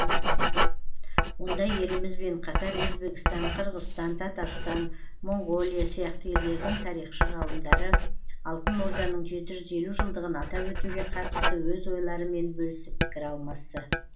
онда елімізбен қатар өзбекстан қырғызстан татарстан моңғолия сияқты елдердің тарихшы ғалымдары алтын орданың жеті жүз елу жылдығын атап өтуге қатысты өз ойларымен бөлісіп пікір алмасты